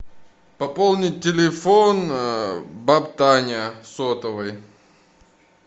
пополнить телефон баба таня сотовый